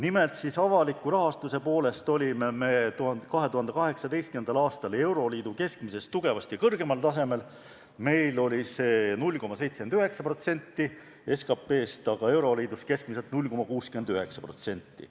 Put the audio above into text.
Nimelt, avaliku sektori rahastuse poolest olime 2018. aastal euroliidu keskmisest tugevasti kõrgemal tasemel: meil oli see 0,79% SKP-st, euroliidus keskmiselt 0,69%.